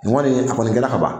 nin kɔni a a kɔni kɛra ka ban